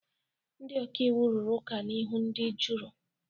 Ndị ọka iwu rụrụ ụka n'ihu ndị juri.